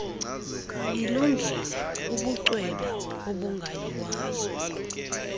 ilungile ubucwebe obungayiwayo